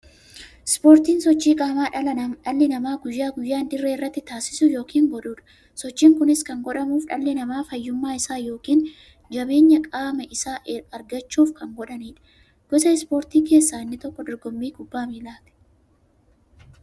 Ispoortiin sochii qaamaa dhalli namaa guyyaa guyyaan dirree irratti taasisu yookiin godhuudha. Sochiin kunis kan godhamuuf, dhalli namaa fayyummaa isaa yookiin jabeenya qaama isaa argachuuf kan godhaniidha. Gosa ispoortii keessaa inni tokko dorgommii kubbaa milaati.